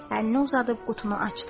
Əlini uzadıb qutunu açdı.